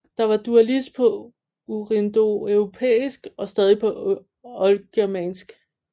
Der var dualis på urindoeuropæisk og stadig på oldgermansk